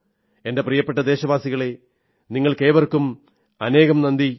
എന്റെ പ്രിയപ്പെട്ട ദേശവാസികളേ നിങ്ങൾക്കേവർക്കും അനേകം നന്ദി